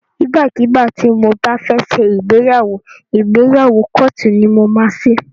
Ìgbà kígbà tí mo bá fẹ́ ṣe ìgbéyàwó, ìgbéyàwó kóòtù ni mo máa ṣe.